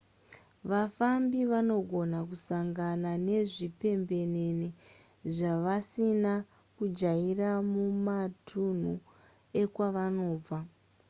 vafambi vanogona kusangana nezvipembenene zvavasina kujaira mumatunhu ekwavanobva